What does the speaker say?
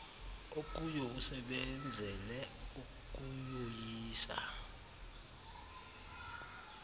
okuyo usebenzele ukuyoyisa